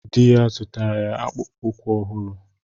Di ya zụtara ya akpụkpọ ụkwụ ọhụrụ.